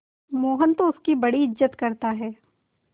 मोहन तो उसकी बड़ी इज्जत करता है